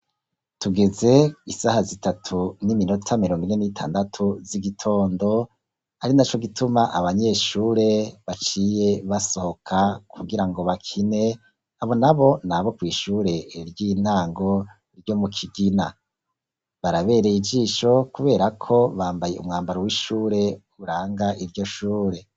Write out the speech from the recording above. Tugeze isaha zitatu n'iminota miromine n'itandatu z'igitondo, ari naco gituma abanyeshure baciye basohoka kugira ngo bakine, abonabo nabo kw'Ishure ry'intango ryo mu Kigina, barabereye ijisho kubera ko bambaye umwambaro w'ishure uranga iryo shure.